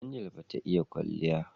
Angel bata iya in kwalya